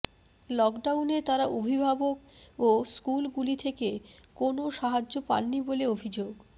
লকডাউনে তারা অভিভাবক ও স্কুলগুলি থেকে কোনও সাহায্য পাননি বলে অভিযোগ